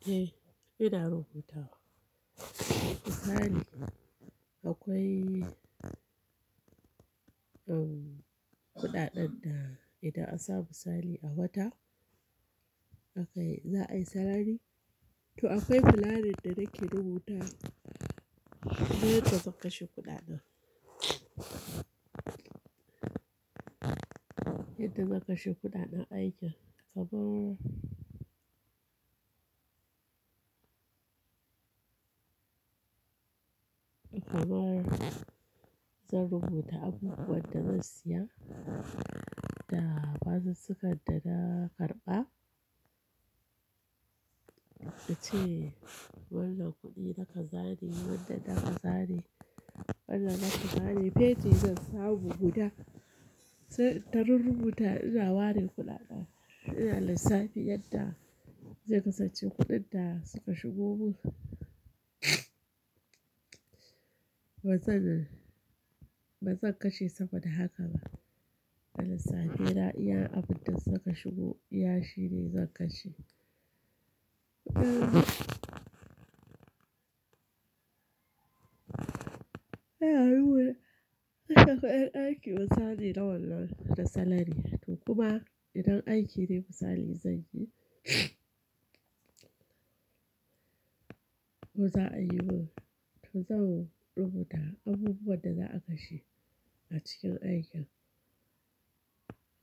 Eh, ina rubuta wa Misali akwai, kuɗaɗen da idan an samu misali a wata, aka yi, za a yi salari. To akwai planning da nake rubuta yadda zan kashe kuɗaɗan. Yadda zan kashe kuɗaɗan aikin. Kamar, kamar zan rubuta abubuwan da zan siya da fasinjakar da na karɓa. Da ce wannan kuɗi na kaza ne, wannan na kaza ne, wannan na kaza ne. Feji zan samu guda. Sai ta ru-rubuta ina ware kuɗaɗa, ina lissafi yadda zai kasance kuɗin da suka shigo mun. Ba zan, ba zan kashe saboda haka ba. Ina lissafi, idan abunda suka shigo iyashi ne zan kashe. Yar hula, idan akwai aiki misali na wannan da salari. To kuma idan aiki ne misali zan yi, ko za a yi mun, to zan rubuta abubuwan da za a kashe a cikin aikin.